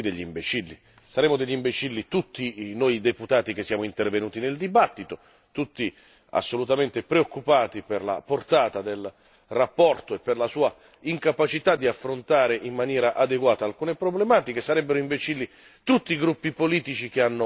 Se così fosse, saremmo tutti degli imbecilli saremmo degli imbecilli tutti noi deputati che siamo intervenuti nel dibattito, tutti assolutamente preoccupati per la portata della relazione e per la sua incapacità di affrontare in maniera adeguata alcune problematiche